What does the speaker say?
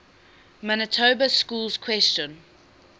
manitoba schools question